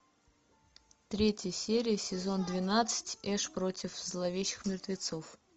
третья серия сезон двенадцать эш против зловещих мертвецов